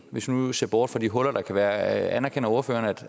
hvis vi nu ser bort fra de huller der kan være anerkender ordføreren